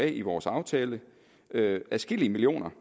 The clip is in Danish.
i vores aftale adskillige millioner